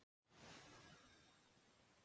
Fleiri lausnir eru í bígerð.